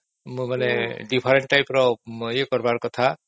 ମାନେ different type ର ଇଏ କରିବା କଥା